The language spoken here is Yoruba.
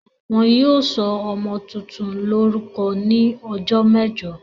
Wọn yóò sọ ọmọ tuntun lórúkọ ní ọjọ́ mẹ́jọ.